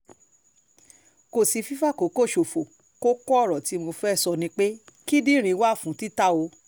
kò sí fífàkókò ṣòfò kókó ọ̀rọ̀ tí mo fẹ́ẹ́ sọ ni pé kíndìnrín wà fún títà o